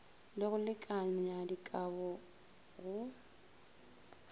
le go lekanya dikabo go